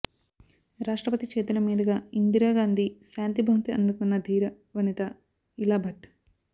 రాష్టప్రతి చేతుల మీదుగా ఇందిరాగాంధీ శాంతి బహుమతి అందుకున్న ధీర వనిత ఇలాభట్